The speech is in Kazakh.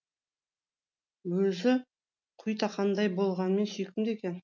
өзі құйтақандай болғанмен сүйкімді екен